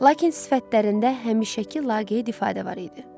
Lakin sifətlərində həmişəki laqeyd ifadə var idi.